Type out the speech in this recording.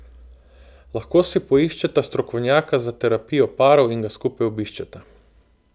Lahko si poiščeta strokovnjaka za terapijo parov in ga skupaj obiščeta.